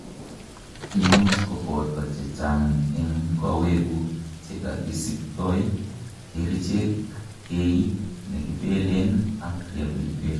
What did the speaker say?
imuch koboto chechang en kowekguk chekakisiptoi, kerichek, kiit nekipelen ak rehabilitation